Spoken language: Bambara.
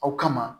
Aw kama